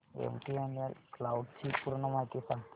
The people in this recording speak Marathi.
एमटीएनएल क्लाउड ची पूर्ण माहिती सांग